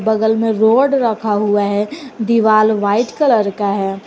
बगल में रोड रखा हुआ है दीवाल व्हाइट कलर का है।